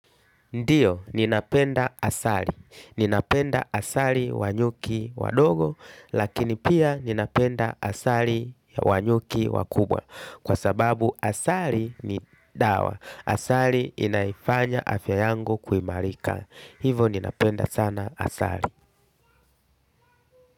Ndiyo, ninapenda asali. Ninapenda asali wa nyuki wadogo, lakini pia ninapenda asali wa nyuki wakubwa. Kwa sababu asali ni dawa. Asali inanifanya afya yangu kuimarika. Hivo ninapenda sana asali.